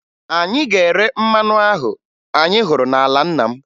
Anyị ga-ere mmanụ ahụ anyị hụrụ n'ala nna m